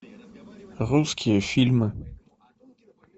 русские фильмы